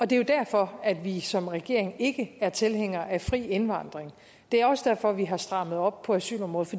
det er jo derfor at vi som regering ikke er tilhængere af fri indvandring og det er også derfor vi har strammet op på asylområdet